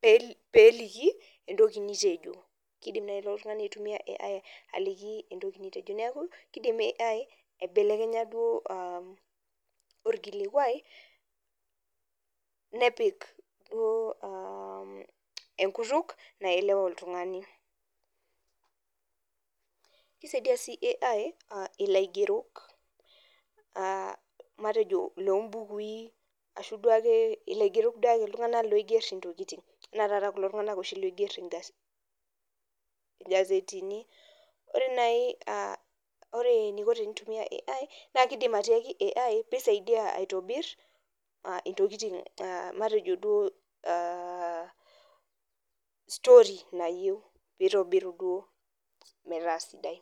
pee peeliki entoki nitejo kidim naaji ilo tung'ani aitumia AI aliki entoki nitejo neeku kidim AI aibelekenya duo uh orkilikuai nepik duo uh enkutuk naelewa oltung'ani kisaidia sii AI uh ilaigerok uh matejo lombukui ashu duake ilaigerok duake iltung'anak duake loigerr intokiting enaa taata kulo tung'anak oshi loigerr ingazetini ore naji uh ore eniko tenitumia AI anaa kidim atiaki AI pisaidia aitobirr uh ntokiting matejo duo uh story nayieu pitobiru duo metaa sidai.